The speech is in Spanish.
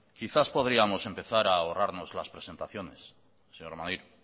quizás podríamos a empezar a ahorrarnos las presentaciones señor maneiro